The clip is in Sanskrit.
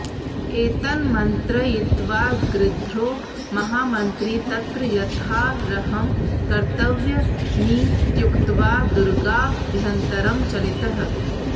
एतन्मन्त्रयित्वा गृध्रो महामन्त्री तत्र यथार्हं कर्तव्यमित्युक्त्वा दुर्गाभ्यन्तरं चलितः